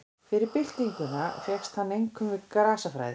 Fyrir byltinguna fékkst hann einkum við grasafræði.